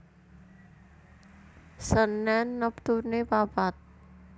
Senen neptune papat